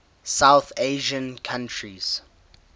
south asian countries